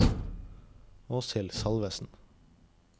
Åshild Salvesen